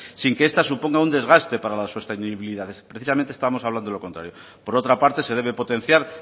sin que esta suponga un desgate para la sostenibilidad precisamente estamos hablando de lo contrario por otra parte se debe potenciar